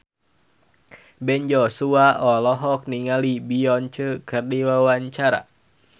Ben Joshua olohok ningali Beyonce keur diwawancara